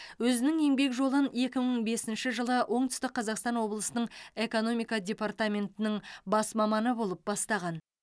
өзінің еңбек жолын екі мың бесінші жылы оңтүстік қазақстан облысының экономика департаментінің бас маманы болып бастаған